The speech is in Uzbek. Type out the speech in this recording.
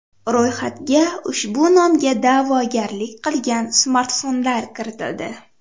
Ro‘yxatga ushbu nomga da’vogarlik qilgan smartfonlar kiritildi.